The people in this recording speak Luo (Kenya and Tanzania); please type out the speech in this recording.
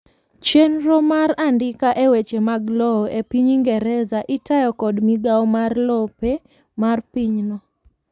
chienro mar andika e weche mag lowo e piny ingereza itayo kod migawo mar lope mar pinyno